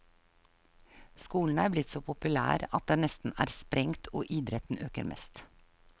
Skolen er blitt så populær at den nesten er sprengt og idretten øker mest.